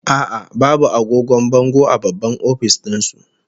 A'a, babu agogon bango a babban office din su